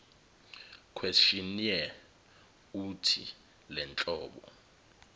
questionnaire uuthi lenhlobo